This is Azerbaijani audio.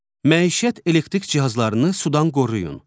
Məişət elektrik cihazlarını sudan qoruyun.